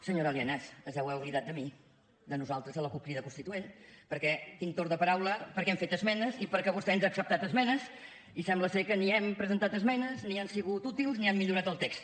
senyora lienas es deu haver oblidat de mi de nosaltres de la cup crida constituent perquè tinc torn de paraula perquè hem fet esmenes i perquè vostè ens ha acceptat esmenes i sembla que ni hem presentat esmenes ni han sigut útils ni han millorat el text